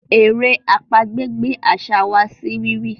èrè àpagbè gbé àṣà wá sí rírí.